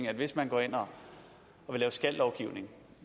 at hvis man går ind og vil lave skal lovgivning